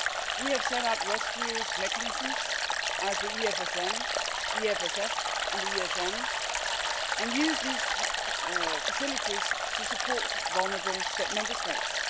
We have set up rescue mechanisms such as the EFSM, the EFS and the ESM, and used these facilities to support vulnerable Member States.